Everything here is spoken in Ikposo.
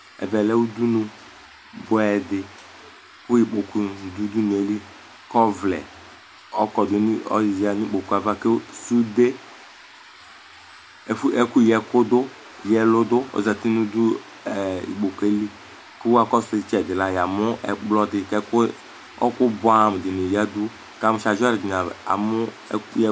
Ɛvɛ lɛ udunu bʋɛ dɩ, kʋ ikpoku nʋ ɩvʋ nɩ adʋ udunu yɛ li Kʋ ɔvlɛ ɔkɔdʋ nʋ ikpoku yɛ ava, kʋ sude (ɛkʋyǝɛlʋ) dʋ ikpoku yɛ li Ɛkplɔ dɩ dʋ ɩtsɛdɩ, kʋ ɔɣɔkʋ bʋɛamʋ nɩ ayǝdʋ nʋ ayava